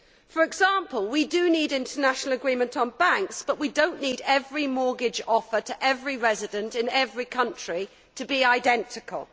For example, we do need international agreement on banks, but we do not need every mortgage offer to every resident in every country to be identical.